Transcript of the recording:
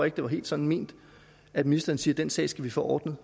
ikke det var helt sådan ment at ministeren siger at den sag skal vi få ordnet